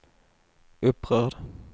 upprörd